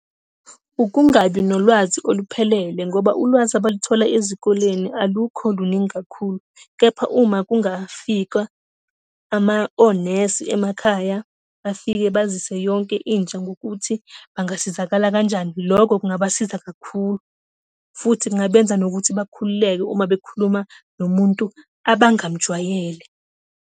Ukungabi nolwazi oluphelele ngoba ulwazi abaluthola ezikoleni alukho luningi kakhulu. Kepha uma kungafika onesi emakhaya, bafike bazise yonke intsha ngokuthi bangasizakala kanjani, lokho kungabasiza kakhulu, futhi kungabenza nokuthi bakhululeke uma bekhuluma nomuntu abangamjwayele.